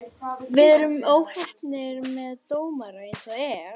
Við erum óheppnir með dómara eins og er.